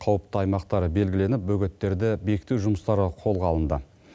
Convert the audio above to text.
қауіпті аймақтар белгіленіп бөгеттерді бекіту жұмыстары қолға алынды